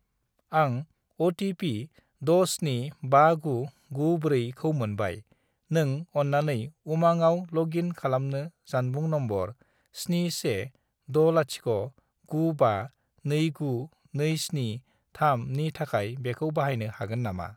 आं अ.टि.पि. 675994 खौ मोनबाय, नों अन्नानै उमांआव लग इन खालामनो जानबुं नम्बर 71609529273 नि थाखाय बेखौ बाहायनो हागोन नामा?